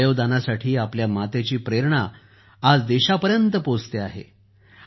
अवयव दानासाठी आपल्या मातेची प्रेरणा आज देशापर्यंत पोहचत आहे